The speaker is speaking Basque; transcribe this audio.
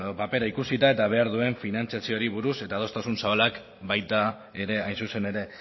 papera ikusita eta behar duen finantziaziori buruz eta adostasun zabalak baita ere hain zuzen ere